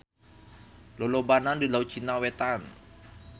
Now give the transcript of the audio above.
Lolobana di Laut Cina Wetan.